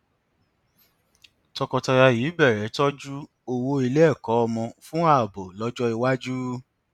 tọkọtaya yìí bẹrẹ tọjú owó ilé ẹkọ ọmọ fún ààbò lọjọ iwájú